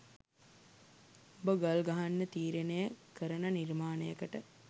උඹ ගල් ගහන්න තීරණය කරන නිර්මාණයකට